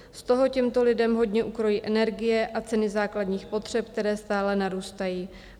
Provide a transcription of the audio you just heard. Z toho těmto lidem hodně ukrojí energie a ceny základních potřeb, které stále narůstají.